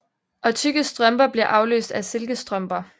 Og tykke strømper bliver afløst af silkestrømper